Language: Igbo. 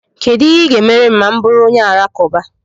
Kedu ihe ị ga-emere m ma M bụrụ onye Alakụba?